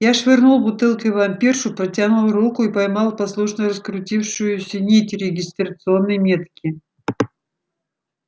я швырнул бутылкой в вампиршу протянул руку и поймал послушно раскрутившуюся нить регистрационной метки